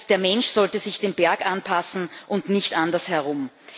Der Mensch sollte sich dem Berg anpassen und nicht andersherum.